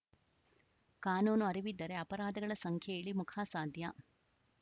ಕಾನೂನು ಅರಿವಿದ್ದರೆ ಅಪರಾಧಗಳ ಸಂಖ್ಯೆ ಇಳಿಮುಖ ಸಾಧ್ಯ